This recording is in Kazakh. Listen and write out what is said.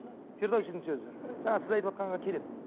фирдаусидің сөзі жаңа сіз айтыватқанға келеді